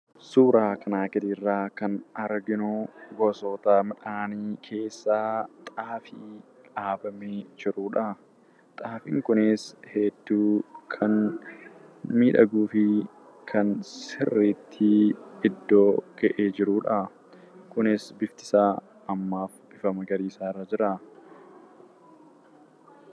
Suuraa kanaa gadii irraa kan arginu, gosoota midhaanii keessaa xaafii dhaabamee jirudha. Xaafiin kunis hedduu kan miidhaguu fi kan sirriitti iddoo ga'ee jirudha. Kunis bifti isaa ammaaf bifa magariisaa irra jira.